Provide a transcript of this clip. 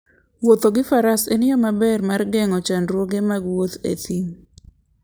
Wuotho gi faras en yo maber mar geng'o chandruoge mag wuoth e thim.